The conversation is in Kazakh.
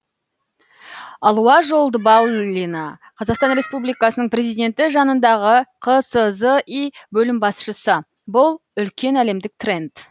алуа жолдыбаулина қазақстан республикасының президенті жанындағы қсзи бөлім басшысы бұл үлкен әлемдік тренд